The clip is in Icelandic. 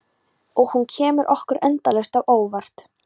Og hún kemur okkur endalaust á óvart.